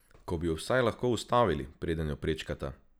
Ko bi ju vsaj lahko ustavili, preden jo prečkata!